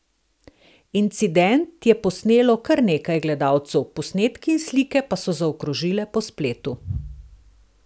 Incident je posnelo kar nekaj gledalcev, posnetki in slike pa so zaokrožile po spletu.